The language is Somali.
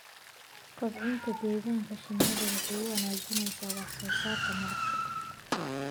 Kobcinta deegaanka shinnidu waxay wanaajisaa wax soo saarka malabka.